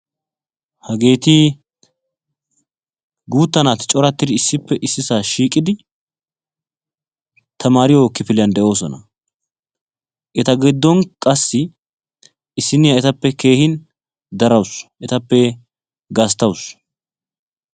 Hageeti guutta naati coratidi issippe issisaa shiiqidi tamariyoo kifiliyaan de'oosona. eta giddon qassi issiniyaa etappe keehin darawus. etappe gasttawus.